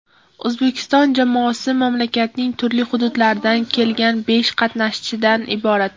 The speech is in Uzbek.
O‘zbekiston jamoasi mamlakatning turli hududlaridan kelgan besh qatnashchidan iborat.